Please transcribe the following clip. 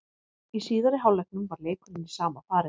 Í síðari hálfleiknum var leikurinn í sama farinu.